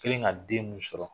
kelen ka den min sɔrɔ.